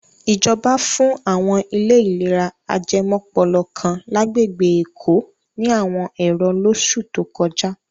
Ìjọba fún àwọn ilé ìlera ajẹmọ́pọlọ kan lágbègbè Èkó ní àwọn ẹ̀rọ lóṣù tó kọjá.